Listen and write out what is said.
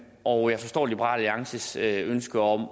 og jeg forstår liberal alliances ønske om